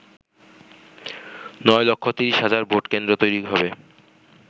নয় লক্ষ ৩০ হাজার ভোটকেন্দ্র তৈরী হবে।